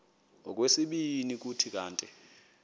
okwesibini kuthi kanti